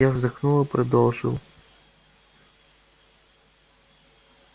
я вздохнул и продолжил